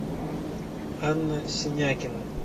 анна синякина